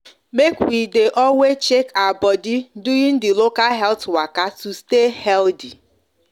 make we de always check our body during the local health waka to stay healthy